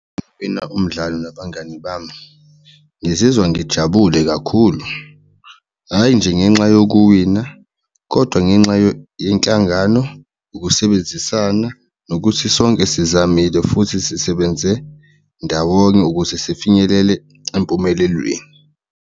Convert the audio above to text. Yebo, umdlalo nabangani bami ngizizwa ngijabule kakhulu hhayi nje ngenxa yokuwina kodwa ngenxa yenhlangano, ukusebenzisana, nokuthi sonke sizamile futhi sisebenze ndawonye ukuze sifinyelele empumelelweni.